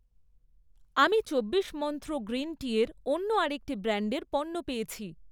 আমি চব্বিশ মন্ত্র গ্রীন টিয়ের অন্য আরেকটি ব্র্যান্ডের পণ্য পেয়েছি৷